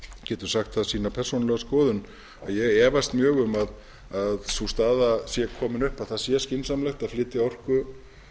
getur sagt það sína persónulegu skoðun að ég efast mjög um að sú staða sé komin upp að það sé skynsamlegt að flytja orku